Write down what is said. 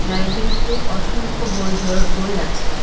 লাইব্রেরিতে অসংখ্য বই ধর বই আছে।